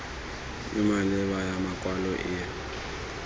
e maleba ya makwalo e